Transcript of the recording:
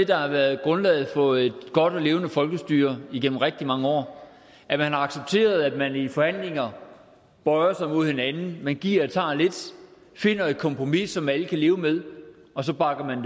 der har været grundlaget for et godt og levende folkestyre igennem rigtig mange år at man har accepteret at man i forhandlinger bøjer sig mod hinanden giver og tager lidt finder et kompromis som alle kan leve med og så bakker man